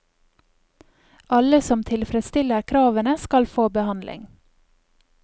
Alle som tilfredsstiller kravene, skal få behandling.